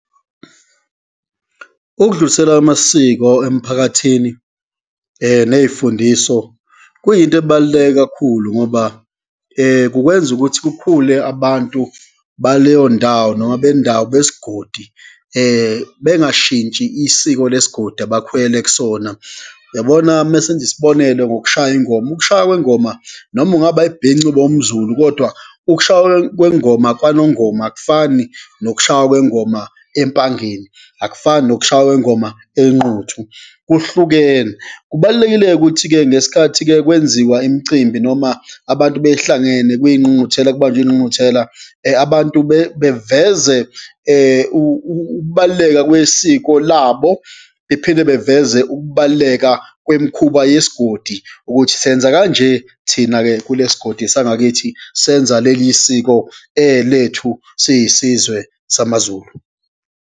Ukudlulisela kwamasiko emphakathini neyifundiso kuyinto ebaluleke kakhulu ngoba kukwenza ukuthi kukhule abantu baleyo ndawo, noma bendawo, besigodi bengashintshi isiko lesigodi abakhulele kusona. Yabona uma senza isibonelo ngokushaya ingoma, ukushaya kwengoma noma ungaba ibhinca ube wumZulu, kodwa ukushaywa kwengoma kwaNongoma akufani nokushaya kwengoma Empangeni, akufani nokushaya kwengoma eNquthu kuhlukene. Kubalulekile ukuthi-ke ngesikhathi-ke kwenziwa imicimbi noma abantu behlangene kuyingqungquthela, kubanjwe ingqungquthela, abantu beveze ukubaluleka kwesiko labo, bephinde beveze ukubaluleka kwemikhuba yesigodi, ukuthi senza kanje thina-ke kule sigodi sangakithi senza leli siko lethu, siyisizwe samaZulu.